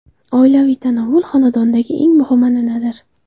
Oilaviy tanovvul xonadondagi eng muhim an’anadir.